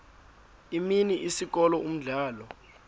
imini isikolo umdlalo